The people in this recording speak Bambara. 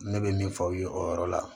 Ne bɛ min fɔ aw ye o yɔrɔ la